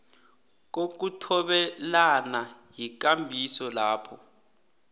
kokuthobelana yikambiso lapho